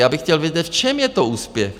Já bych chtěl vědět, v čem je to úspěch?